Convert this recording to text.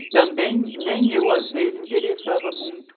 E também nem eu, às vezes, interessava muito.